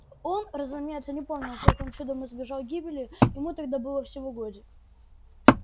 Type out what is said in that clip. он разумеется не помнил как он чудом избежал гибели ему тогда был всего годик